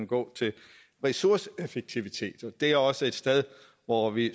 gå til ressourceeffektivitet det er også et sted hvor vi